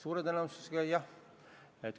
Suure tõenäosusega jah.